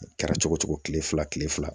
A kɛra cogo cogo kile fila kile fila